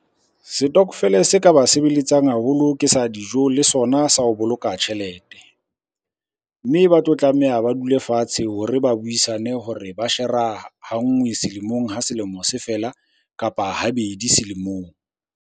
Setokofele se ka ba sebeletsang haholo ke sa dijo le sona sa ho boloka tjhelete, mme ba tlo tlameha ba dule fatshe hore ba buisane hore ba shera ha ngwe selemong ha selemo se fela, kapa ha bedi selemong.